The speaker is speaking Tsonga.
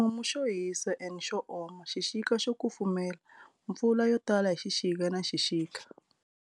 Ximumu xo hisa and xo oma, xixika xo kufumela, mpfula yotala hi xixika na xixika.